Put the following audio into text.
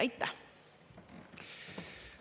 Aitäh!